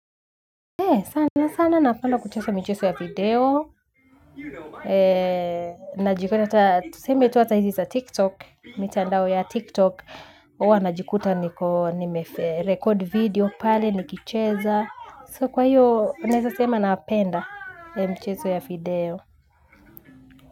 He sana sana nafanda kuchesa micheso ya video. Eee najipata ata tuseme tu ata hizi za tiktok. Mitandao ya tiktok ua najikuta niko nime record video pale nikicheza, so kwa hiyo na hesa sema napenda mcheso ya video.